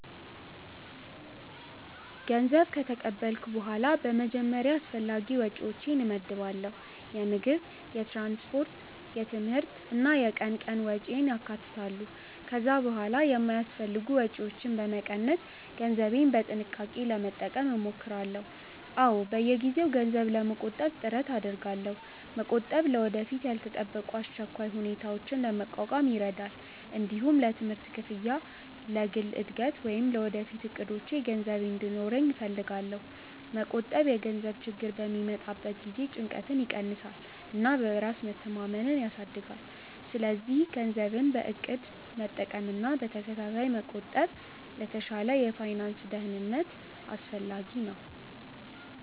ገንዘብ ከተቀበልኩ በኋላ በመጀመሪያ አስፈላጊ ወጪዎቼን እመድባለሁ። የምግብ፣ የትምህርት፣ የትራንስፖርት እና የቀን ቀን ወጪን ያካትታሉ። ከዚያ በኋላ የማይአስፈልጉ ወጪዎችን በመቀነስ ገንዘቤን በጥንቃቄ ለመጠቀም እሞክራለሁ። አዎ፣ በየጊዜው ገንዘብ ለመቆጠብ ጥረት አደርጋለሁ። መቆጠብ ለወደፊት ያልተጠበቁ አስቸኳይ ሁኔታዎችን ለመቋቋም ይረዳል። እንዲሁም ለትምህርት ክፍያ፣ ለግል እድገት ወይም ለወደፊት እቅዶቼ ገንዘብ እንዲኖረኝ እፈልጋለሁ። መቆጠብ የገንዘብ ችግር በሚመጣበት ጊዜ ጭንቀትን ይቀንሳል እና በራስ መተማመንን ያሳድጋል። ስለዚህ ገንዘብን በእቅድ መጠቀምና በተከታታይ መቆጠብ ለተሻለ የፋይናንስ ደህንነት አስፈላጊ ነው።